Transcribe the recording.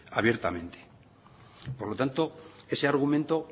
abiertamente por lo tanto ese argumento